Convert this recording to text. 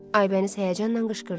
Aybəniz həyəcanla qışqırdı.